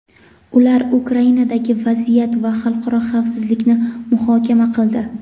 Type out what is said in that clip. Ular Ukrainadagi vaziyat va xalqaro xavfsizlikni muhokama qildi.